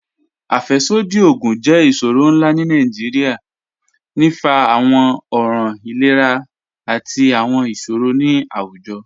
Afẹ́ṣọdí ogun jẹ́ iṣọrọ̀ nlá ni Nigeria, ní fá àwọn ọ̀ràn ìlẹ̀rà àti àwọn iṣọrọ̀ ni awújọ̀.